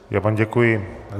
Já vám děkuji.